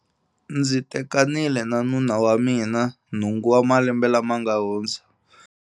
Ndzi tekanile na nuna wa mina nhungu wa malembe lama ma nga hundza.